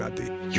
Yıxıldı.